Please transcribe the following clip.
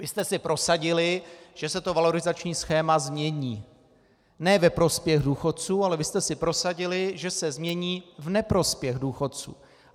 Vy jste si prosadili, že se to valorizační schéma změní ne ve prospěch důchodců, ale vy jste si prosadili, že se změní v neprospěch důchodců.